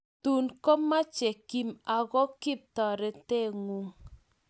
Tuun komache Kim ago kip toretengung